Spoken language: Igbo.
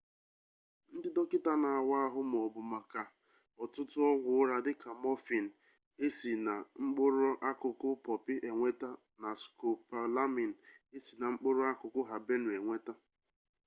ndị dọkịta na-awa ahụ mabu maka ọtụtụ ọgwụ ụra dịka mọfịịn e si na mkpụrụakụkụ pọpị enweta na skopolamiin e si na mkpụrụakụkụ habenụ enweta